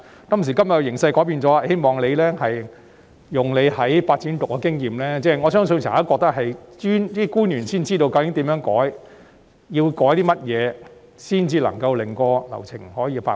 今時今日形勢已改變，希望局長利用他在發展局的經驗......我相信只有政府官員才知道，究竟該如何改動和要改動些甚麼才能夠令流程加快。